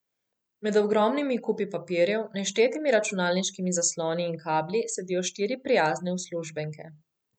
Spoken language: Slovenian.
Med ogromnimi kupi papirjev, neštetimi računalniškimi zasloni in kabli sedijo štiri prijazne uslužbenke.